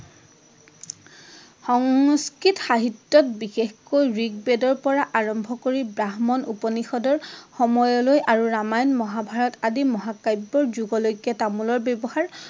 সংস্কৃত সাহিত্যত বিশেষকৈ ঋক বেদৰ পৰা আৰম্ভ কৰি ব্ৰাহ্মণ উপনিষদৰ সময়লৈ আৰু ৰামায়ণ মহাভাৰত আদি মহাকাব্যৰ যুগলৈ তামোলৰ ব্যৱহাৰ